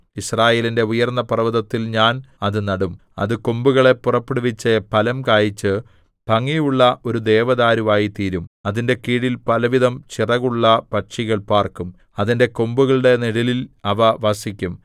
യിസ്രായേലിന്റെ ഉയർന്ന പർവ്വതത്തിൽ ഞാൻ അത് നടും അത് കൊമ്പുകളെ പുറപ്പെടുവിച്ച് ഫലം കായിച്ച് ഭംഗിയുള്ള ഒരു ദേവദാരുവായിത്തീരും അതിന്റെ കീഴിൽ പലവിധം ചിറകുള്ള പക്ഷികൾ പാർക്കും അതിന്റെ കൊമ്പുകളുടെ നിഴലിൽ അവ വസിക്കും